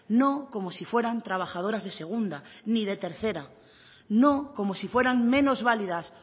no como si fueran trabajadoras de segunda ni de tercera no como si fueran menos válidas